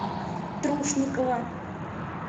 трушникова